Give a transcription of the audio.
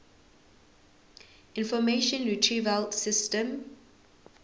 information retrieval system